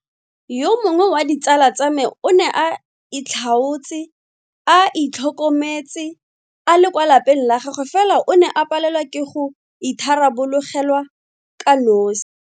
Yo mongwe wa ditsala tsa me o ne a itlhaotse a itlhokometse a le kwa lapeng la gagwe fela o ne a palelwa ke go itharabologelwa kanosi.